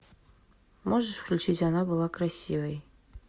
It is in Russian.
можешь включить она была красивой